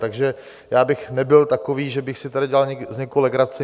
Takže já bych nebyl takový, že bych si tady dělal z někoho legraci.